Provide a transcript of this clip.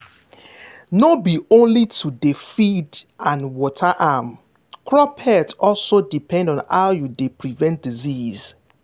no be only to dey feed and water am crop health also depend on how you dey prevent disease.